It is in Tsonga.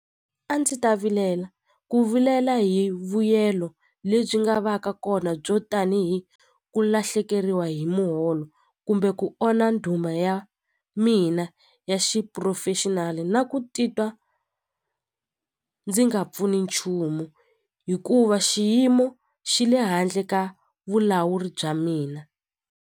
A ndzi ta vilela ku vilela hi vuyelo lebyi nga va ka kona byo tanihi ku lahlekeriwa hi muholo kumbe ku onha nduma ya mina ya xiphurofexinali na ku titwa ndzi nga pfuni nchumu hikuva xiyimo xi le handle ka vulawuri bya mina.